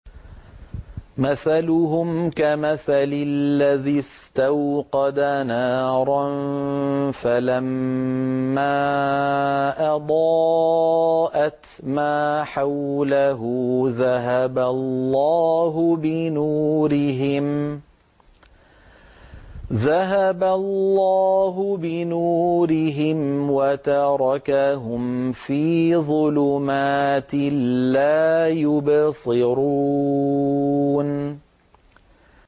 مَثَلُهُمْ كَمَثَلِ الَّذِي اسْتَوْقَدَ نَارًا فَلَمَّا أَضَاءَتْ مَا حَوْلَهُ ذَهَبَ اللَّهُ بِنُورِهِمْ وَتَرَكَهُمْ فِي ظُلُمَاتٍ لَّا يُبْصِرُونَ